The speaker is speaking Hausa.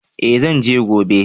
Eh zan je gobe